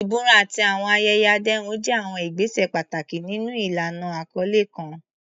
Ìbúra àti àwọn ayẹyẹ àdéhùn jẹ́ àwọn ìgbésẹ̀ pàtàkì nínú ìlànà àkọlé kan.